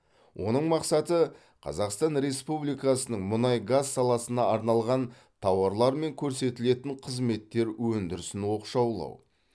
оның мақсаты қазақстан республикасының мұнай газ саласына арналған тауарлар мен көрсетілетін қызметтер өндірісін оқшаулау